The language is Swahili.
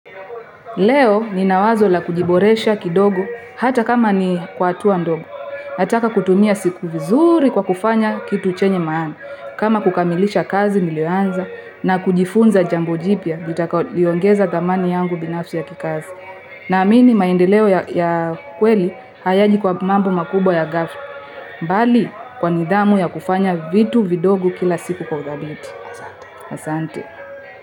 Leo ninawazo la kujiboresha kidogo, hata kama ni kwa hatua ndogo. Nataka kutumia siku vizuri kwa kufanya kitu chenye maana. Kama kukamilisha kazi niliyo anza, na kujifunza jambo jipya, litakalo ongeza dhamani yangu binafsi ya kikazi. Naamini maendeleo ya kweli hayaji kwa mambo makubwa ya ghafla. Bali kwa nidhamu ya kufanya vitu vidogo kila siku kwa udhabiti. Asante.